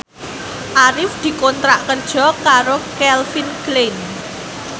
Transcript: Arif dikontrak kerja karo Calvin Klein